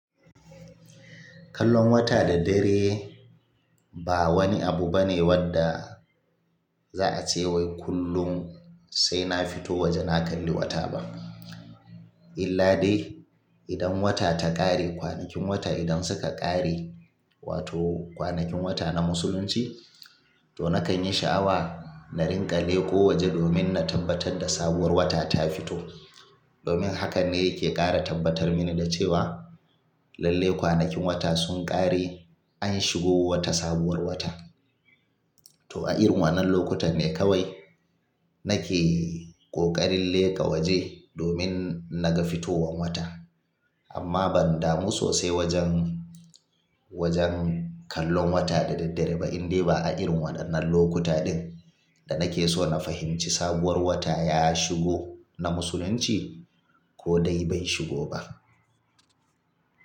Kallon wata da dare ba wani abu bane wadda, za a ce wai kullum sai na fito waje na kalli wata ba. Illa dai idan wata ta ƙare, kwanakin wata idan suka ƙare, wato kwanakin wata na Musulunci, to nakan yi sha'awa na ringa leƙo waje domin na tabbatar da sabuwar wata ta fito. Domin haka ne yake ƙara tabbatar mini da cewa, lallai kwanakin wata sun ƙare an shigo wata sabuwar wata. To a irin waƴannan lokutan ne kawai nake ƙoƙarin leƙa waje domin naga fitowan wata. Amma ban damu sosai wajen, wajen kallon wata da daddare ba indai ba a irin waɗannan lokuta ɗin, da nake so na fahimci sabuwar wata ya shigo na musulunci ko dai bai shigo ba.